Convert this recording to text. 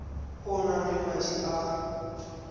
o nang le madi a